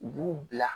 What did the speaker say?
U b'u bila